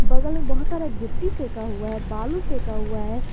बगल में बहुत सारे गिट्टी फेंका हुआ है बालू फेंक हुआ है।